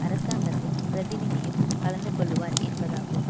அரசாங்கத்தின் பிரதிநிதியும் கலந்து கொள்ளுவார் என்பதாகும்